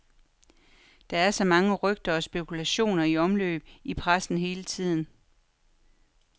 Der er så mange rygter og spekulationer i omløb i pressen hele tiden.